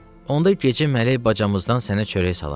Onda gecə mələk bacamızdan sənə çörək salar.